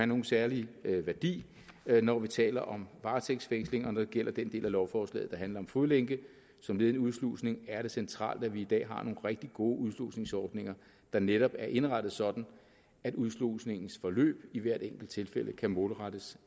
nogen særlig værdi når vi taler om varetægtsfængslinger når det gælder den del af lovforslaget der handler om fodlænke som led i en udslusning er det centralt at vi i dag har nogle rigtig gode udslusningsordninger der netop er indrettet sådan at udslusningens forløb i hvert enkelt tilfælde kan målrettes